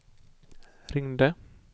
ringde